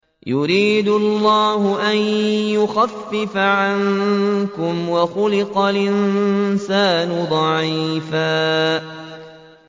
يُرِيدُ اللَّهُ أَن يُخَفِّفَ عَنكُمْ ۚ وَخُلِقَ الْإِنسَانُ ضَعِيفًا